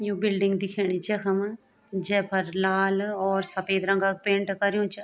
यु building दिखेणी जखम जैफर लाल और सपेद रंगा क पेंट कर्युं चा।